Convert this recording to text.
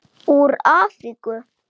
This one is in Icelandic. Úr Afríku!